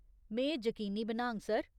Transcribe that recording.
में एह् जकीनी बनाङ, सर।